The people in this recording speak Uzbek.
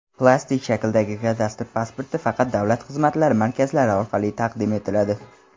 plastik shakldagi kadastr pasporti faqat Davlat xizmatlari markazlari orqali taqdim etiladi.